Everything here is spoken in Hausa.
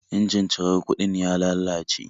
Injin cirar kuɗin ya lalace